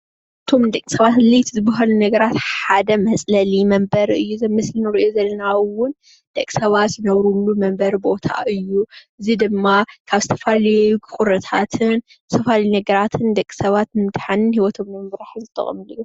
ካፍቶም ንደቂሰባት ኣድላዩቲ ዝበሃሉ ነገራት ሓደ መፅለሊ መንበሪ እዩ። እዚ ኣብ ምስሊ እንሪኦ ዘለና እውን ደቂ ሰባት ዝነብሩሉ መንበሪ ቦታ ኦዩ። እዙይ ድማ ካብ ዝተፈላለዩ ቁርታትን ዝተፈላለዩ ነገራትን ደቂ ሰባት ንምድሓንን ሂወቶም ንምምራሕን ዝጥቀምሉ እዩ።